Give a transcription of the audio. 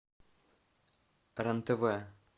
рен тв